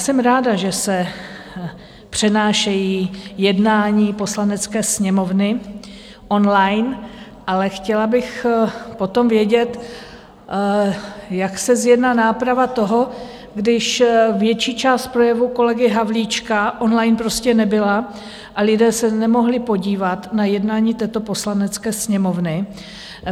Jsem ráda, že se přenášejí jednání Poslanecké sněmovny online, ale chtěla bych potom vědět, jak se zjedná náprava toho, když větší část projevu kolegy Havlíčka online prostě nebyla a lidé se nemohli podívat na jednání této Poslanecké sněmovny.